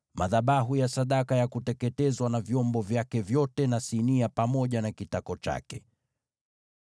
madhabahu ya sadaka ya kuteketezwa na vyombo vyake vyote na sinia pamoja na kitako chake.